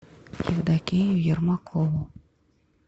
евдокию ермакову